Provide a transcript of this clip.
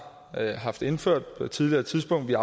haft indført på et tidligere tidspunkt men